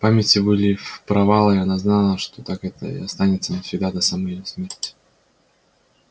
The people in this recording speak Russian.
в памяти были провалы и она знала что так это и останется навсегда до самой её смерти